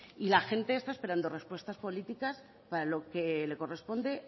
y la gente está esperando respuestas políticas para lo que le corresponde